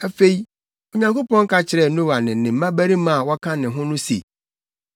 Afei, Onyankopɔn ka kyerɛɛ Noa ne ne mmabarima a wɔka ne ho no se,